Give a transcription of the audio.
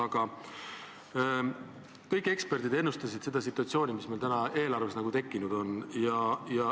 Aga kõik eksperdid ennustasid seda situatsiooni, mis eelarvega tekkinud on.